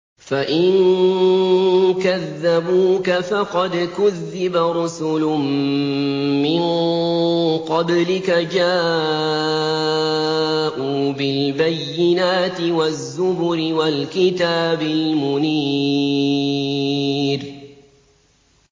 فَإِن كَذَّبُوكَ فَقَدْ كُذِّبَ رُسُلٌ مِّن قَبْلِكَ جَاءُوا بِالْبَيِّنَاتِ وَالزُّبُرِ وَالْكِتَابِ الْمُنِيرِ